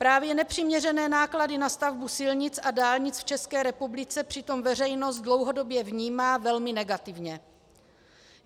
Právě nepřiměřené náklady na stavbu silnic a dálnic v České republice přitom veřejnost dlouhodobě vnímá velmi negativně.